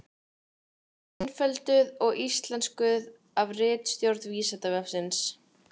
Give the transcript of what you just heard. Einfölduð og íslenskuð af ritstjórn Vísindavefsins.